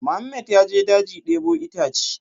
Mohammed ya je daji ya debo itace